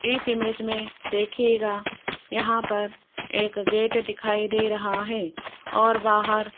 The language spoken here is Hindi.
इस इमेज में देखियेगा यहाँ पर एक गेट दिखाई दे रहा है और बाहर --